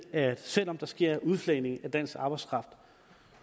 at selv om der sker en udflagning af dansk arbejdskraft